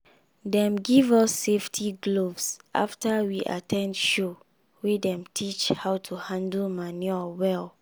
dem give us safety gloves after we at ten d show wey dem teach how to handle manure well.